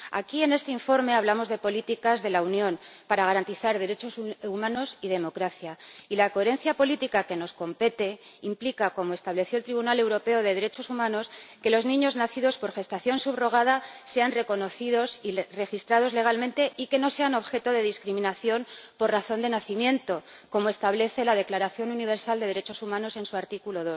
Aquí, en este informe, hablamos de políticas de la Unión para garantizar derechos humanos y democracia, y la coherencia política que nos compete implica, como estableció el Tribunal Europeo de Derechos Humanos, que los niños nacidos por gestación subrogada sean reconocidos y registrados legalmente y no sean objeto de discriminación por razón de nacimiento, como establece la Declaración Universal de Derechos Humanos en su artículo